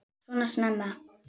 Svona snemma?